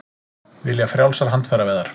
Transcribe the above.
Vilja frjálsar handfæraveiðar